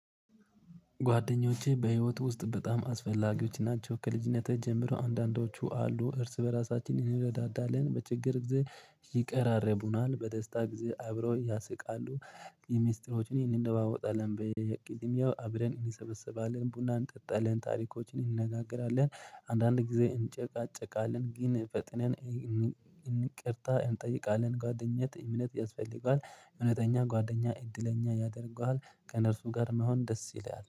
ጓደኞቼ በህይወት ውስጥ በጣም አስፈላጊዎች ናቸው። ከልጅነቴ ጀምሮ አንዳንዶቹ አሉ እርስ በራሳችን እንረዳዳለን በችግር ጊዜ ይቀራረቡናል በደስታ ጊዜ አብረው ያስቃሉ። የሚስጥሮችን እንለዋወጣለን በቂጽምያው አብረን እንሰበሰባለን ቡናን ጠጣልን ታሪኮችን እንነጋገራለን። አንዳንድ ጊዜ እንጨቃጨቃለን ግን ፈጥነን እንቅርታ እንጠይቃለን። ጓደኝነት እምነት ያስፈልገዋል እምነተኛ ጓደኛ እድለኛ ያደርገዋል። ከእነርሱ ጋር መሆን ደስ ይለዋል